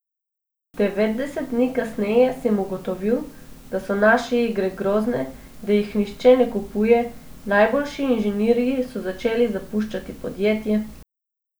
Devetdeset dni kasneje sem ugotovil, da so naše igre grozne, da jih nihče ne kupuje, najboljši inženirji so začeli zapuščati podjetje ...